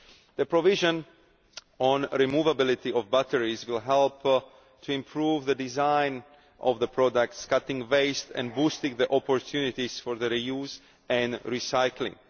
The provision on the removability of batteries will help to improve the design of products, cutting waste and boosting the opportunities for re use and recycling.